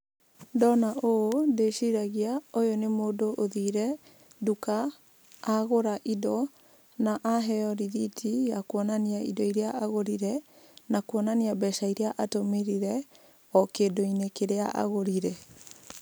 Ndona ũũ ndĩciragia ũyũ nĩ mũndũ ũthire nduka agũra indo na aheo rĩthiti ya kuonania indo iria agũrire, na kuonania mbeca iria atũmĩrire o kĩndũ-inĩ kĩrĩa agũrire.